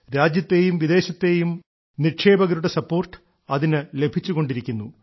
രാജ്യത്തേയും വിദേശത്തെയും നിക്ഷേപകരുടെ പിന്തുണ അതിന് ലഭിച്ചുകൊണ്ടിരിക്കുന്നു